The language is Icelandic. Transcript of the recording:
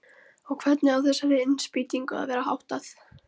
Og hvernig á þessari innspýtingu að vera háttað?